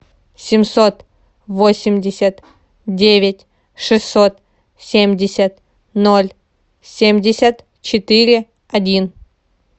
семьсот восемьдесят девять шестьсот семьдесят ноль семьдесят четыре один